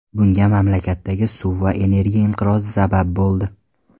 Bunga mamlakatdagi suv va energiya inqirozi sabab bo‘ldi.